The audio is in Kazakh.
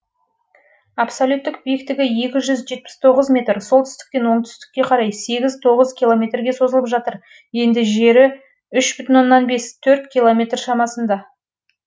абсолюттік биіктігі метр солтүстіктен оңтүстікке қарай километрге созылып жатыр енді жері километр шамасында